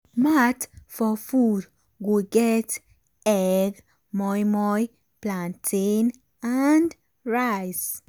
mat for food go get egg moimoi plantain and rice.